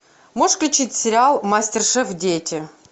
можешь включить сериал мастер шеф дети